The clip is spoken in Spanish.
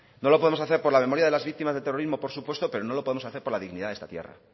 no lo podemos hacer por la memoria de las víctimas del terrorismo por supuesto pero no lo podemos hacer por la dignidad de esta tierra